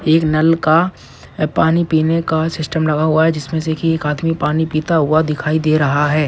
एक नल का पानी पीने का सिस्टम लगा हुआ है जिसमें से एक आदमी पानी पीता हुआ दिखाई दे रहा है।